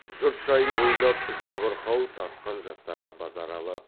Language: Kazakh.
жұрт жайын ойлап жабырқау тартқан жастарға базаралы